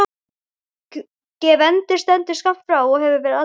Gvendur stendur skammt frá og hefur verið að tala.